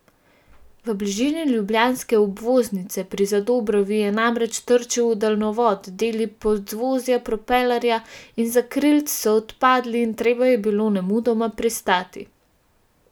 V bližini ljubljanske obvoznice pri Zadobrovi je namreč trčil v daljnovod, deli podvozja, propelerja in zakrilc so odpadli in treba je bilo nemudoma pristati.